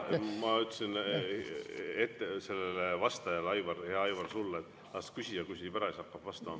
Ma ütlesin vastajale, hea Aivar, sulle, et las küsija küsib ära ja siis hakka vastama.